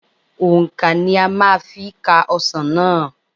Òǹkà ni a máa fi ka ọsàn náà.